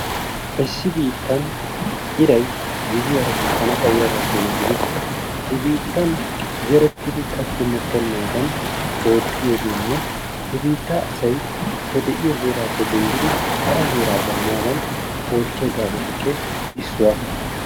Issi biittan iray gizziyara bukkana xayiyaba keena gidikko he biittan zerettidi katti mokkennaadan oottiyogeenne he biittaa asay he de'iyo heeraappe denddidi hara heeraa baanaadan oottiya gaasotuppe issuwa.